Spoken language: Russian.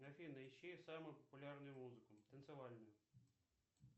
афина ищи самую популярную музыку танцевальную